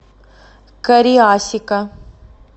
кариасика